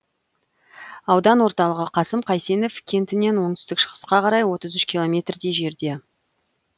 аудан орталығы қасым қайсенов кентінен оңтүстік шығысқа қарай отыз үш километр дей жерде